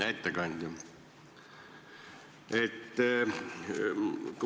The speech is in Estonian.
Hea ettekandja!